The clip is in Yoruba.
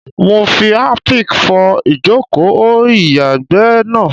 Mo fi Harpic fọ ìjòkó o ìyàgbẹ́ náà.